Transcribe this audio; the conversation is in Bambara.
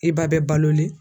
I ba bɛ balolen